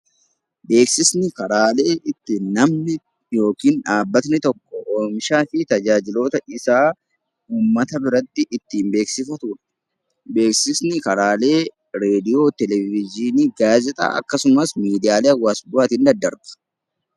Beeksisni karaalee ittiin namni tokko yookiin dhaabbanni oomishaa fi tajaajila isaa uummata biratti ittiin beeksifatudha. Beeksifni karaalee raadiyoo, televezyiinii, gaazexaa akkasumas miidiyaalee hawaasummaatiin daddarba.